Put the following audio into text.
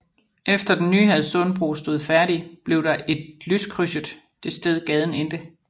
Efter den nye Hadsundbro stod færdig blev der et lyskrydset det sted gaden endte